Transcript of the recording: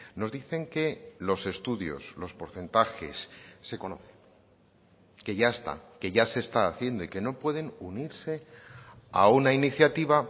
nos dicen que los estudios los porcentajes se conoce que ya está que ya se está haciendo y que no pueden unirse a una iniciativa